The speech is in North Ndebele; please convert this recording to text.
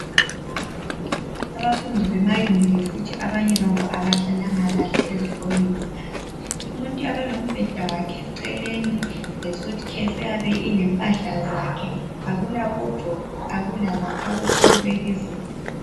Abafundi bemaYunivesithi abanye babo abahlalanga kahle ezikolweni ngale umuntu uyabe elombheda wakhe eceleni lesuitcase eyabe ilempahla zakhe akulawadrobe akulamakhabothi okubeka izinto.